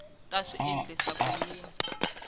ta swi endlisa ku yini